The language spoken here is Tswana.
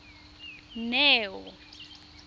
neo